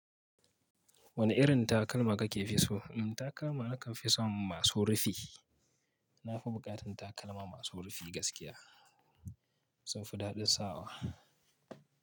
Wane irin takalma ka fi so? In takalma nakan fi so masu rufi. Na fi buƙatar takalma masu rufi gaskiya. Sun fi daɗin sawa.